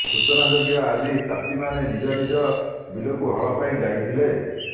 ସୂଚନାଯୋଗ୍ୟ ଆଜି ଚାଷୀମାନେ ନିିଜନିଜ ବିଲକୁ ହଳ ପାଇଁ ଯାଇଥିଲେ